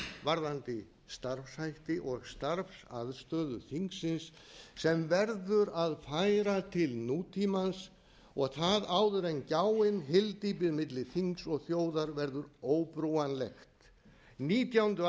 varðandi starfshætti og starfsaðstöðu þingsins sem verður að færa til nútímans og það áður en gjáin hyldýpið miða þings og þjóðar verður óbrúanleg nítjándu